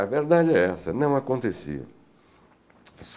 A verdade é essa, não acontecia.